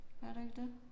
Gør der ikke det?